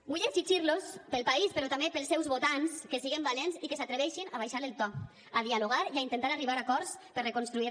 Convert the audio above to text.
vull exigir los per al país però també pels seus votants que siguem valents i que s’atreveixin a abaixar el to a dialogar i a intentar arribar a acords per reconstruir